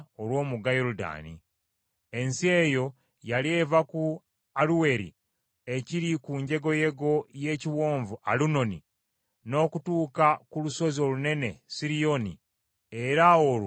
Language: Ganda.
Ensi eyo yali eva ku Aluweri ekiri ku njegoyego y’Ekiwonvu Alunoni n’okutuuka ku lusozi olunene Siriyoni era olwo ye Kerumooni,